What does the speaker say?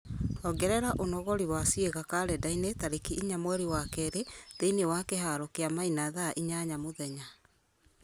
ongerera ũnogori wa ciĩga karenda-inĩ tarĩki inya mweri wa kerĩ thĩinĩ wa kĩharo kĩa maina thaa inyanya mũthenya